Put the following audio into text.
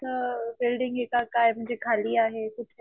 असं बिल्डिंग आहे का काय म्हणजे खाली आहे कुठंय?